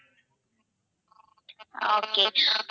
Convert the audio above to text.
ஆஹ் okay